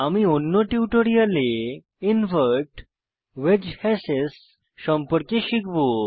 আমি অন্য টিউটোরিয়ালে ইনভার্ট ওয়েজ হাশেস সম্পর্কে শিখব